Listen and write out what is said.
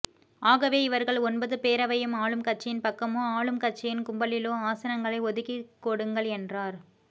ஆகவே இவர்கள் ஒன்பது பேரவையும் ஆளும் கட்சியின் பக்கமோ ஆளும் கட்சியின் கும்பலிலோ ஆசனங்களை ஒதுக்கிக்கொடுங்கள் என்றார்